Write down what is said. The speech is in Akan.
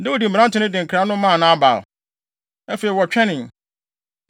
Dawid mmerante no de nkra no maa Nabal. Afei wɔtwɛnee.